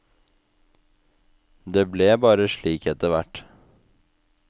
Det ble bare slik etter hvert.